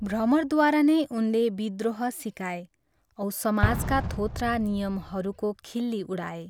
भ्रमरद्वारा नै उनले विद्रोह सिकाए औ समाजका थोत्रा नियमहरूको खिल्ली उडाए।